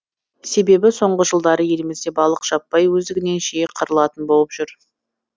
себебі соңғы жылдары елімізде балық жаппай өздігінен жиі қырылатын болып жүр